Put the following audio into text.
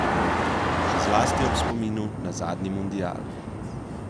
Še zlasti ob spominu na zadnji mundial ...